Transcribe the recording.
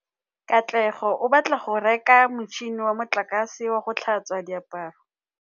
Katlego o batla go reka motšhine wa motlakase wa go tlhatswa diaparo.